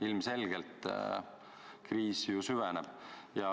Ilmselgelt kriis ju süveneb.